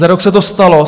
Za rok se to stalo.